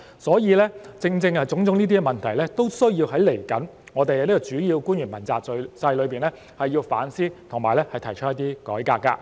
所以，正正因為這些問題，未來我們需要在主要官員問責制裏反思和提倡改革。